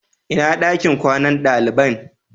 Inna ɗakin kwanan dalibain?